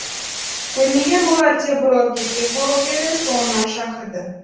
көрмеген болар деп бұрылып кетпек болып еді соңынан шақырды